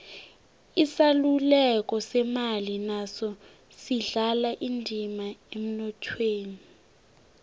isaluleko semali naso sidlala indima emnothweni